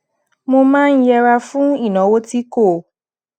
mo máa ń yera fún ìnáwó tí kò